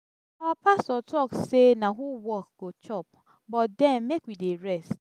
our pastor talk say na who work go chop but den make we dey rest.